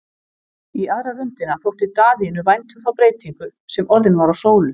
Í aðra röndina þótti Daðínu vænt um þá breytingu sem orðin var á Sólu.